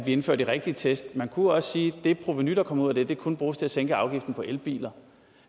indfører de rigtige test man kunne også sige at det provenu der kommer ud af det kunne bruges til at sænke afgifterne på elbiler